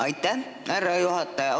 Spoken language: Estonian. Aitäh, härra juhataja!